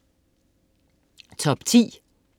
Top 10